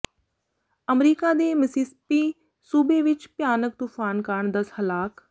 America ਦੇ Mississippi ਸੂਬੇ ਵਿਚ ਭਿਆਨਕ ਤੂਫਾਨ ਕਾਰਨ ਦਸ ਹਲਾਕ